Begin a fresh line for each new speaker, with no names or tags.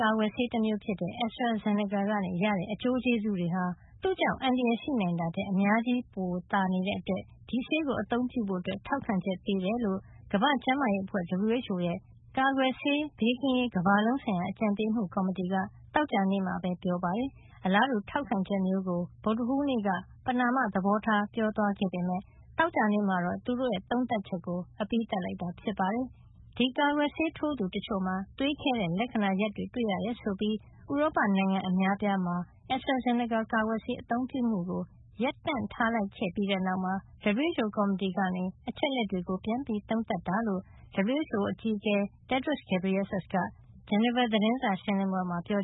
ကာကွယ်ဆေး တမျိုးဖြစ်တဲ့ AstraZeneca ကနေ ရတဲ့ အကျိုးကျေးဇူးတွေဟာ သူ့ကြောင့် အန္တရာယ် ဖြစ်လာနိုင်တာထက် အများကြီး ပိုသာနေတဲ့အတွက် ဒီဆေးကို အသုံးပြုဖို့ ထောက်ခံချက် ပေးကြောင်း WHO ကမ္ဘာ့ကျန်းမာရေး အဖွဲ့ကြီးရဲ့ ကာကွယ်ဆေး ဘေးကင်းရေး ကမ္ဘာလုံးဆိုင်ရာ အကြံပေးမှုကော်မတီက သောကြာနေ့မှာ ပြောကြားလိုက်ပါတယ်။ အလားတူ ထောက်ခံချက်မျိုးကို ဗုဒ္ဓဟူးနေ့က ပဏာမ သဘောထား ပြောကြားခဲ့ပေမယ့် သောကြာနေ့မှာတော့ သူတို့ရဲ့ သုံးသပ်ချက်ကို အပြီးသတ်ထုတ်ပြန်လိုက်တာပါ။ ဒီကာကွယ်ဆေး ထိုးသူတချို့မှာ သွေးခဲတဲ့ လက္ခဏာ ရပ်တွေ တွေ့ရတယ် ဆိုပြီး ဥရောပ နိုင်ငံ အများအပြားက Astra Zeneca ကာကွယ်ဆေး အသုံးပြုမှုကို ရပ်တံ့ထားလိုက်ပြီးတဲ့ နောက်မှာ WHO ကော်မတီက အချက်အလက်တွေကို ပြန်လည် သုံးသပ်တာ ဖြစ်ကြောင်း WHO အကြီးအကဲ Tedros Adhanom Ghebreyesus က သောကြာနေ့ ဂျနီဗာရုံးချုပ် သတင်းစာရှင်း
လင်းပွဲမှာ ပြော